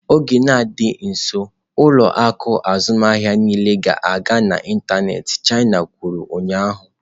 "N'ọdịnihu dị nso, ụlọ akụ azụmahịa niile ga-aga n'ịntanetị" chima kwuru ụnyaahụ.